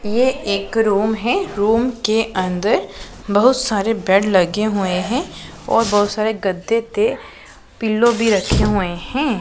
ये एक रूम है रूम के अंदर बहुत सारे बेड लगे हुए हैं और बहुत सारे गद्दे थे पिलो भी रखे हुए हैं।